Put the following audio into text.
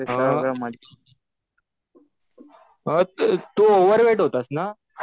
हा. तु ओव्हरवेट होतास ना?